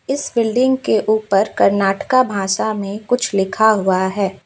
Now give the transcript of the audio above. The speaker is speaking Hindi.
इस बिल्डिंग के ऊपर कर्नाटका भाषा में कुछ लिखा हुआ है।